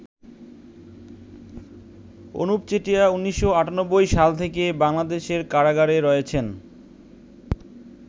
অনুপ চেটিয়া ১৯৯৮সাল থেকে বাংলাদেশের কারাগারে রয়েছেন।